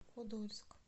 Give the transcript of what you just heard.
подольск